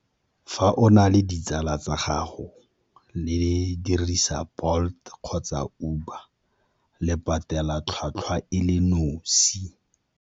Fa o na le ditsala tsa gago le dirisa Bolt kgotsa Uber le patela tlhwatlhwa e le nosi.